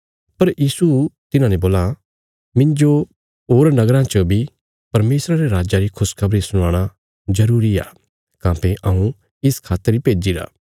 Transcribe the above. पर यीशु तिन्हाने बोलां मिन्जो होर नगराँ च बी परमेशरा रे राज्जा री खुशखबरी सुनाणा जरूरी आ काँह्भई हऊँ इस खातर ही भेज्जिरा